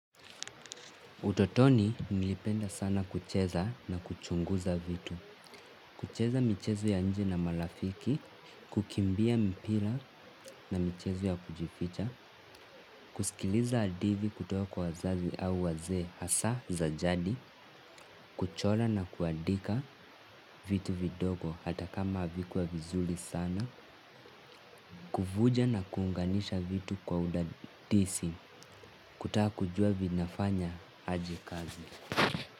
Utotoni nilipenda sana kucheza na kuchunguza vitu. Kucheza michezo ya nje na marafiki. Kukimbia mpira na michezo ya kujificha. Kusikiliza hadithi kutoka kwa wazazi au wazee hasa za jadi. Kuchora na kuandika vitu vidogo hata kama havikuwa vizuri sana. Kuvunja na kuunganisha vitu kwa udadisi. Kutaka kujua vinafanya aje kazi.